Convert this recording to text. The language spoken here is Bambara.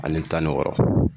Ani tani wɔɔrɔ